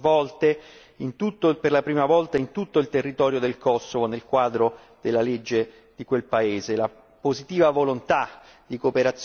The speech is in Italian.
Elezioni libere e democratiche si sono svolte per la prima volta in tutto il territorio del Kosovo nel quadro della legge di quel paese.